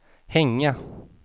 hänga